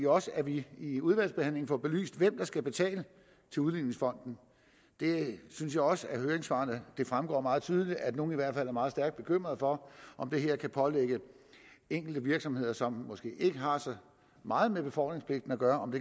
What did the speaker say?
også at vi i udvalgsbehandlingen får belyst hvem der skal betale til udligningsfonden der synes jeg også det af høringssvarene fremgår meget tydeligt at nogle i hvert fald er meget stærkt bekymrede for om det her kan pålægge enkelte virksomheder som måske ikke har så meget med befordringspligten at gøre